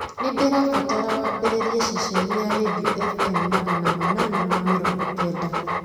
nĩ ndirabatara wambĩrĩrie ceceni ya rĩndiũ f.m. magana manana ma mĩrongo kenda